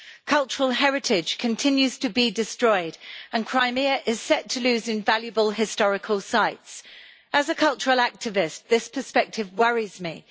Cultural heritage continues to be destroyed, and Crimea is set to lose invaluable historical sites. As a cultural activist, this perspective worries me.